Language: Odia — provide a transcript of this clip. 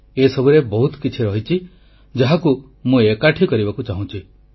ଏସବୁରେ ବହୁତ କିଛି ରହିଛି ଯାହାକୁ ମୁଁ ଏକାଠି କରିବାକୁ ଚାହୁଁଛି